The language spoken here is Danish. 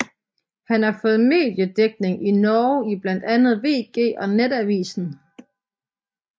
Han har fået mediedækning i Norge i blandt andet VG og Nettavisen